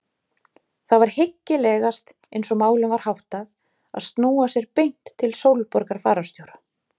Það var hyggilegast eins og málum var háttað að snúa sér beint til Sólborgar fararstjóra.